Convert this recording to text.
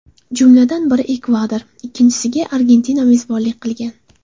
Jumladan, biri Ekvador, ikkinchisiga Argentina mezbonlik qilgan.